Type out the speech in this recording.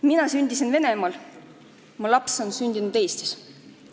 Mina sündisin Venemaal, mu laps on sündinud Eestis.